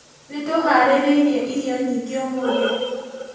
Nĩtũharĩrĩirie irio nyingĩ ũmũthĩ